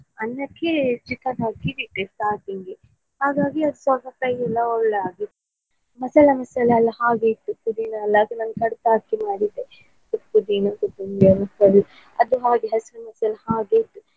ಅನ್ನಕ್ಕೆ chicken ಹಾಕಿ ಇಟ್ಟೆ starting ಉ ಹಾಗಾಗಿ ಅದು ಸಖತ್ತಾಗಿ ಎಲ್ಲ ಒಳ್ಳೆ ಆಗಿತ್ತು ಮಸಾಲಾ ಮಿಶ್ರಣ ಎಲ್ಲ ಹಾಗೆ ಇತ್ತು ಪುದಿನ ಎಲ್ಲ ಹಾಕಿ ಮಾಡಿದ್ದೆ ಅದು ಹಾಗೆ ಹಸಿರು ಹಸಿರು ಹಾಗೆ ಇತ್ತು.